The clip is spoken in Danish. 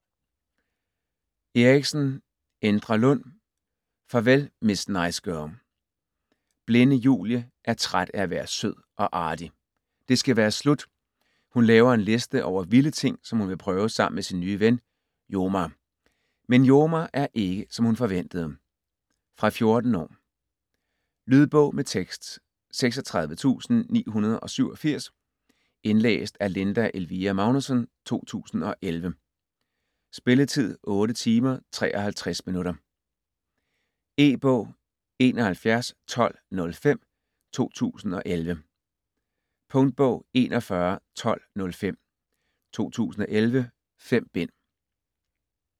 Eriksen, Endre Lund: Farvel miss nice girl Blinde Julie er træt af at være sød og artig. Det skal være slut. Hun laver en liste over vilde ting, som hun prøve sammen med sin nye ven Jomar. Men Jomar er ikke, som hun forventede. Fra 14 år. Lydbog med tekst 36987 Indlæst af Linda Elvira Magnussen, 2011. Spilletid: 8 timer, 53 minutter. E-bog 711205 2011. Punktbog 411205 2011. 5 bind.